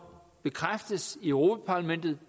bekræftes i europa parlamentet